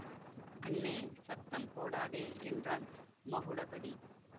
அண்ணே சத்தம் போடாதே என்றான் மகுடபதி